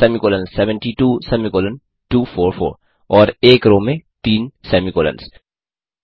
semicolon 72 semicolon 244 और एक row में तीन सेमी कोलंस